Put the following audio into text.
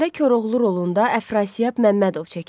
Filmdə Koroğlu rolunda Əfrasiyab Məmmədov çəkilib.